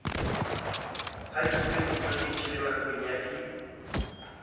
hadikilweng disoseji le makwenya di